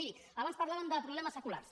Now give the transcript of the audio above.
miri abans parlàvem de problemes seculars